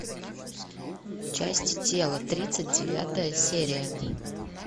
части тела тридцать девятая серия